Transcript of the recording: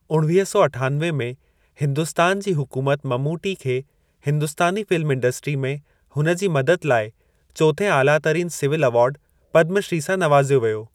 उणिवीह सौ अठानवे में हिन्दुस्तान जी हुकूमत ममूटी खे हिंदुस्तानी फ़िल्म इंडस्ट्री में हुन जी मदद लाइ चोथें आला तरीन सिविल एवार्ड पदमु श्री सां नवाज़ियो वियो।